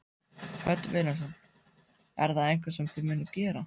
Hödd Vilhjálmsdóttir: Er það eitthvað sem að þið munuð gera?